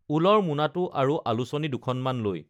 ঊলৰ মোনাটো আৰু আলোচনী দুখনমান লৈ